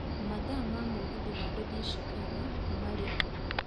mathaa ma mũgithi wa gũthiĩ Chicago marĩku